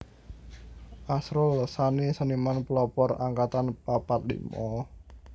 Asrul Sani Seniman Pelopor Angkatan papat limo